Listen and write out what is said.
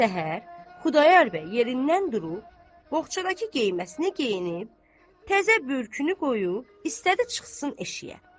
Səhər Xudayar bəy yerindən durub, boğçadakı geyməsini geyinib, təzə bürkünü qoyub istədi çıxsın eşiyə.